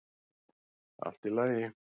Allt í lagi.